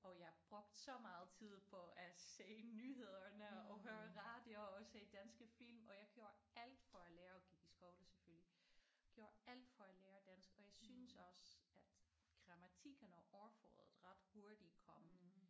Og jeg brugte så meget tid på at se nyhederne og høre radio og se danske film og jeg gjorde alt for at lære og gik i skole selvfølgelig gjorde alt for at lære dansk og jeg synes også at grammatikken og ordforrådet ret hurtigt kom